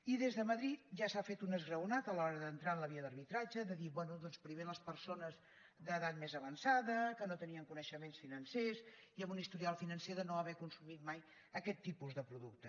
i des de madrid ja s’ha fet un esgraonat a l’hora d’entrar en la via d’arbitratge de dir bé doncs primer les persones d’edat més avançada que no tenien coneixements financers i amb un historial financer de no haver consumit mai aquest tipus de producte